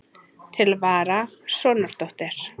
Til vara, sonardóttir.